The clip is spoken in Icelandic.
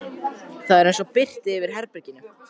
Það var eins og birti yfir herberginu.